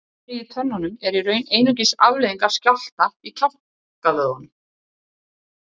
Glamrið í tönnunum er í raun einungis afleiðing af skjálfta í kjálkavöðvunum.